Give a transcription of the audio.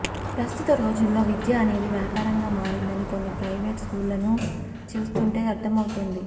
ప్రస్తుత రోజుల్లో విద్య అనేది వ్యాపారంగా మారిందని కొన్ని ప్రయివేట్ స్కూళ్లను చూస్తుంటే అర్ధమవుతోంది